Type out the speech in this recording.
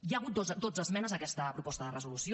hi ha hagut dotze esmenes a aquesta proposta de resolució